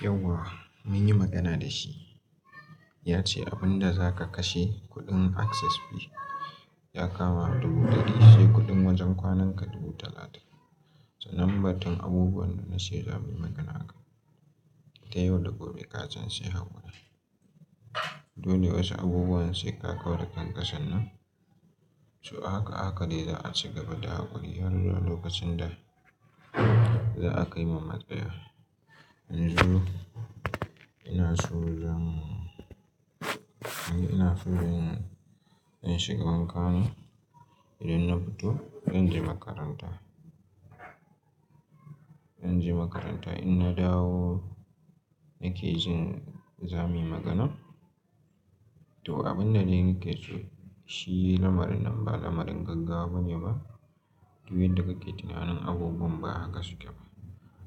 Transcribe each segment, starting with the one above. Yau wa mun yi magana da shi, ya ce abun da za ka kashe kuɗin access fee ya kama dubu ɗari, sai kuɗin wajen kwananka dubu talatin. Sanan batunabubuwan da na ce za mu yi magana akai, da yau da gobe kasan sai haƙuri. Dole wasu abubuwan sai ka kau da ƙanka san nan. To haka haka dai za a ci gaba da haƙuri har lokacin da za a kai ma matsaya. Yanzu ina inaso zan yanzu ina san in shiga wanka ne idan na fito zan shiga wanka. Zan je makaranta in na dawo na ke jin za mu yi magana. To abin dai na ke so shi lamarin nan ba lamarin gaggawa bane ba, duk yadda kake tunanin abubuwan ba haka suke ba.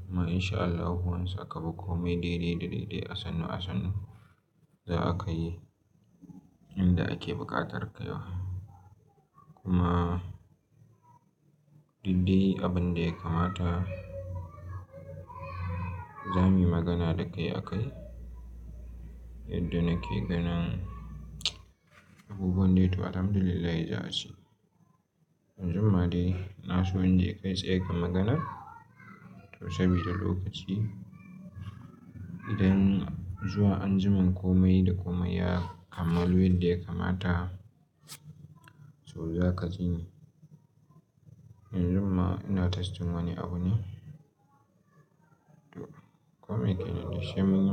Kuma insha Allahu wani sakamako mai dai dai dai dai asannu asannu za a kai inda ake buƙatar kaiwa. Kuma duk dai abin da ya kamata za mu yi magana da kai a kai yadda na ke ganin abubuwan dai to alhamdulillahi za ace. Yau ma dai na so in je kai tsaye ka maganar to saboda lokaci idan zuwa anjiman komai da komai ya kammalu yadda ya kamata to za ka ji ni. Yanzun ma ina ta testing wani abu ne, to koi dai ne ma sai munyi.